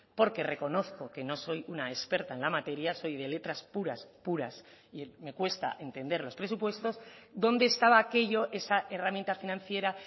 porque reconozco que no soy una experta en la materia soy de letras puras puras y me cuesta entender los presupuestos dónde estaba aquello esa herramienta financiera